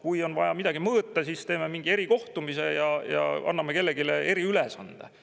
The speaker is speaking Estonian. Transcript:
Kui on vaja midagi mõõta, siis teeme mingi erikohtumise ja anname kellelegi eriülesande.